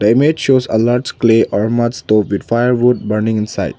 image shows a lot clay stove with firewood burning inside.